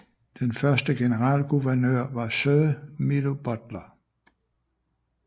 Den første generalguvernør var Sir Milo Butler